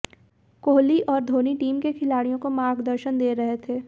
कोहली और धोनी टीम के खिलाड़ियों को मार्गदर्शन दे रहे थे